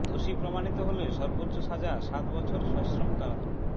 দোষী প্রমাণিত হলে সর্বোচ্চ সাজা সাত বছর সশ্রম কারাদণ্ড